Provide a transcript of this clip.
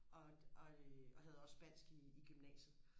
og og øh og havde også Spansk i i gymnasiet